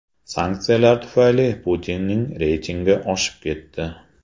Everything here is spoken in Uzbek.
Sanksiyalar tufayli Putinning reytingi oshib ketdi.